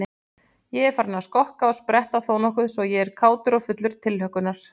Ég er farinn að skokka og spretta þónokkuð svo ég er kátur og fullur tilhlökkunar.